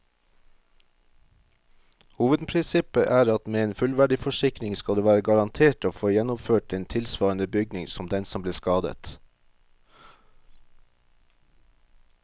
Hovedprinsippet er at med en fullverdiforsikring skal du være garantert å få gjenoppført en tilsvarende bygning som den som ble skadet.